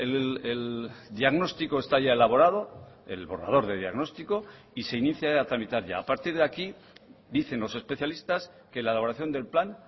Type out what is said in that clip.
el diagnóstico está ya elaborado el borrador de diagnóstico y se inicia a tramitar ya a partir de aquí dicen los especialistas que la elaboración del plan